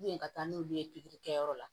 ka taa n'olu ye pikiri kɛyɔrɔ la